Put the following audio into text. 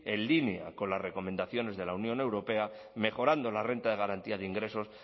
en línea con las recomendaciones de la unión europea mejorando la renta de garantía de ingresos